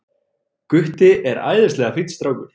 Gutti er æðislega fínn strákur.